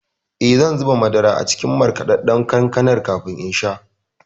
Eh, zan zuba madara a cikin markaɗaɗɗan kankanar kafin in sha.